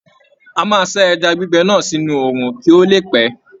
A máa sá ẹja gbígbẹ náà sínú òòrùn kí ó le pẹ́.